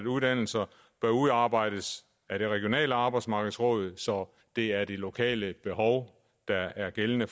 uddannelser bør udarbejdes af det regionale arbejdsmarkedsråd så det er de lokale behov der er det gældende